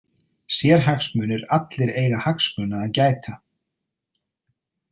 Sérhagsmunir Allir eiga hagsmuna að gæta.